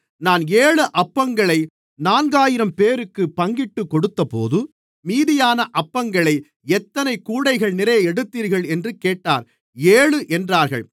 நான் ஏழு அப்பங்களை நான்காயிரம்பேருக்குப் பங்கிட்டுக்கொடுத்தபோது மீதியான அப்பங்களை எத்தனை கூடைகள்நிறைய எடுத்தீர்கள் என்று கேட்டார் ஏழு என்றார்கள்